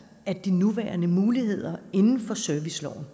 at de nuværende muligheder inden for serviceloven